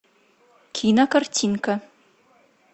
кинокартинка